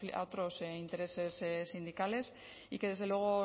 a otros intereses sindicales y que desde luego